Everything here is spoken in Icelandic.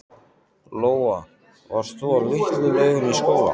Lóa: Varst þú á Litlu-Laugum í skóla?